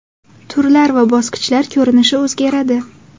Turlar va bosqichlar ko‘rinishi o‘zgaradi.